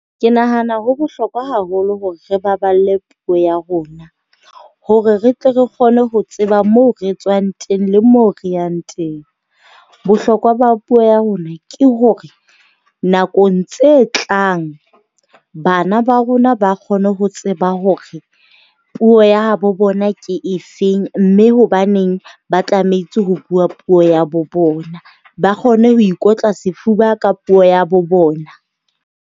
Ke nahana ho bohlokwa haholo hore re baballe puo ya rona, hore re tle re kgone ho tseba moo re tswang teng le mo re yang teng. Bohlokwa ba puo ya rona ke hore nakong tse tlang bana ba rona ba kgone ho tseba hore puo ya habo bona ke efeng, mme hobaneng ba tlametse ho bua puo ya bo bona. Ba kgone ho ikotla sefuba ka puo ya bo bona.